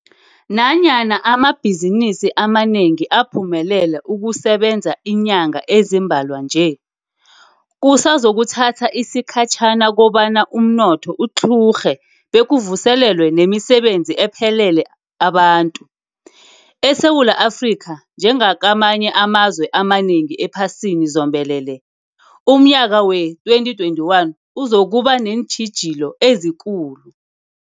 Nanyana amabhizinisi amanengi aphumelele ukusebenza iinyanga ezimbalwa nje, kusazokuthatha isikhatjhana kobana umnotho utlhurhe bekuvuselelwe nemisebenzi ephelele abantu. ESewula Afrika, njengakamanye amazwe amanengi ephasini zombelele, umnyaka wee-2021 uzokuba neentjhijilo ezikulu.